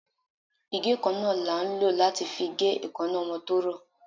Ìgé-kánná la ń lo latí fí gé èkáná ọmọ to rọ